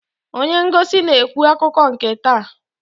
Onye ngosi na-ekwu akụkọ nke taa.